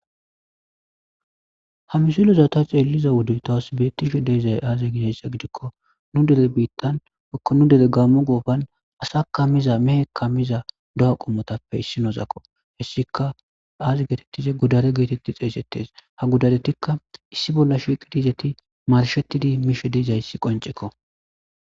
ha misulozata ceeliza wudu tahosibetishe deezay aaze ginessa gidikko nu dere biittan ko nu dere gammo goofan asaka miza mehe ka miza do7a qommotappe issi noozakko hessika aazi geetettize gudare geetetti xeesettes ha gudadetikka issi bolla shiqidizeti marshettidi miishe deezayssi qoncekko